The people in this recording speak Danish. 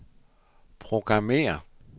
programmér